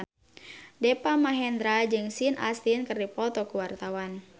Deva Mahendra jeung Sean Astin keur dipoto ku wartawan